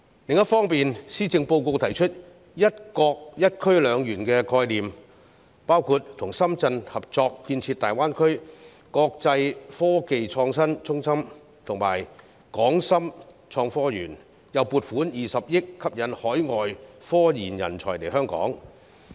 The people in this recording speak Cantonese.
另一方面，施政報告提出一個"一區兩園"的概念，包括與深圳合作建設大灣區國際科技創新中心和港深創新及科技園，又撥款20億元吸引海外科研人才來港。